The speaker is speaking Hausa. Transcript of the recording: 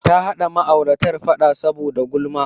Ta haɗa ma'auratar faɗa saboda gulama.